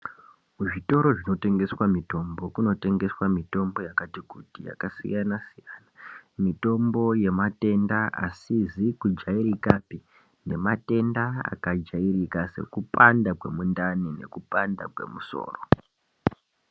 Kuzvitoro zvinotengeswa mitombo kunotengeswa mitombo yakati kuti yakasiyana siyana mitombo yematenda asizi kujairakapi nematenda akajairika sekupanda kwemundani nekupanda kwemusoro.